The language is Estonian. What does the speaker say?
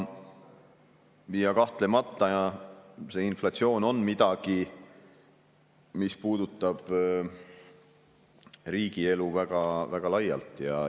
Kahtlemata on inflatsioon midagi, mis puudutab riigi ja inimeste elu väga-väga laialt.